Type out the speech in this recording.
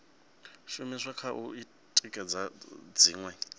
shumiswa kha u tikedza dziṅwe